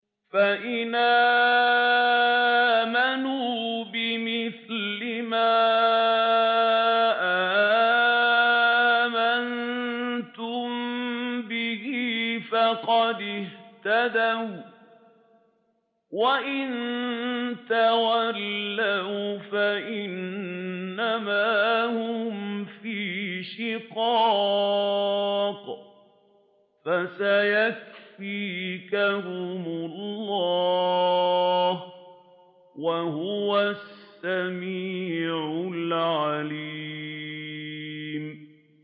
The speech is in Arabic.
فَإِنْ آمَنُوا بِمِثْلِ مَا آمَنتُم بِهِ فَقَدِ اهْتَدَوا ۖ وَّإِن تَوَلَّوْا فَإِنَّمَا هُمْ فِي شِقَاقٍ ۖ فَسَيَكْفِيكَهُمُ اللَّهُ ۚ وَهُوَ السَّمِيعُ الْعَلِيمُ